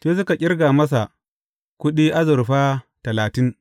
Sai suka ƙirga masa kuɗi azurfa talatin.